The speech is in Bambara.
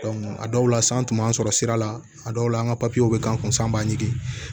a dɔw la san tun b'an sɔrɔ sira la a dɔw la an ka bɛ k'an kun sɔn an b'a ɲini